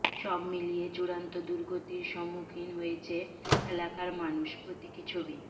সব মিলিয়ে চূড়ান্ত দুর্গতির সম্মুখীন হয়েছে এলাকার মানুষ প্রতীকী ছবি